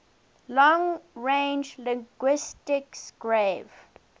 long range linguistics gave